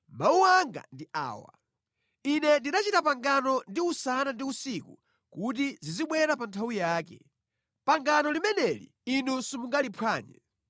Mawu anga ndi awa. Ine ndinachita pangano ndi usana ndi usiku kuti zizibwera pa nthawi yake. Pangano limeneli inu simungaliphwanye.